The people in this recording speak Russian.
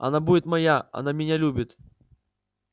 она будет моя она меня любит